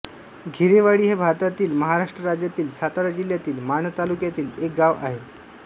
घेरेवाडी हे भारतातील महाराष्ट्र राज्यातील सातारा जिल्ह्यातील माण तालुक्यातील एक गाव आहे